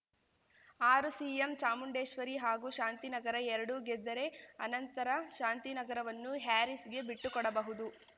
ಆರು ಸಿಎಂ ಚಾಮುಂಡೇಶ್ವರಿ ಹಾಗೂ ಶಾಂತಿನಗರ ಎರಡೂ ಗೆದ್ದರೆ ಅನಂತರ ಶಾಂತಿನಗರವನ್ನು ಹ್ಯಾರೀಸ್‌ಗೆ ಬಿಟ್ಟುಕೊಡಬಹುದು